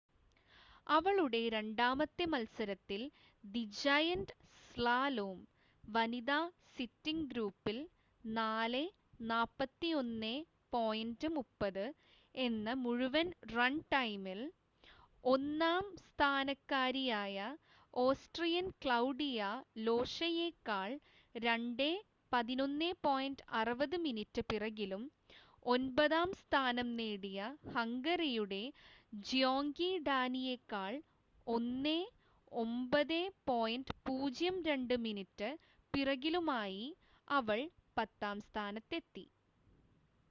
അവളുടെ രണ്ടാമത്തെ മത്സരത്തിൽ ദി ജയന്റ് സ്ലാലോം വനിതാ സിറ്റിംഗ് ഗ്രൂപ്പിൽ 4:41.30 എന്ന മുഴുവൻ റൺ ടൈമിൽ ഒന്നാം സ്ഥാനക്കാരിയായ ഓസ്‌ട്രിയൻ ക്ലൗഡിയ ലോഷയേക്കാൾ 2:11.60 മിനിറ്റ് പിറകിലും ഒൻപതാം സ്ഥാനം നേടിയ ഹംഗറിയുടെ ജ്യോങ്കി ഡാനിയേക്കാൾ 1:09.02 മിനിറ്റ് പിറകിലുമായി അവൾ പത്താം സ്ഥാനത്തെത്തി